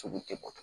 Sugu tɛ bɔ